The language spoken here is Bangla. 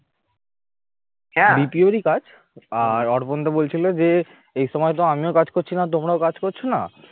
BPO রি কাজ আর অর্পণ দা বলছিল যে এ সময় তো আমিও কাজ করছি না তোমরা কাজ করছ না